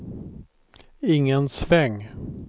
ingen sväng